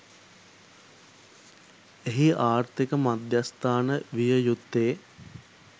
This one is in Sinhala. එහි ආර්ථික මධ්‍යස්ථාන විය යුත්තේ